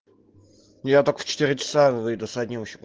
я только в четыре часа выйду с одним ещё